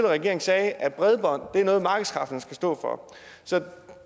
regering sagde at bredbånd er noget markedskræfterne skal stå for